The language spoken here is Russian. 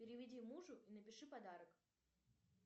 переведи мужу и напиши подарок